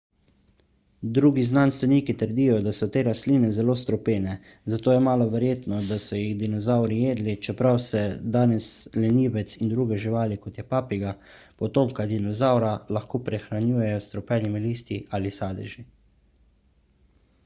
drugi znanstveniki trdijo da so te rastline zelo strupene zato je malo verjetno da so jih dinozavri jedli čeprav se danes lenivec in druge živali kot je papiga potomka dinozavra lahko prehranjujejo s strupenimi listi ali sadeži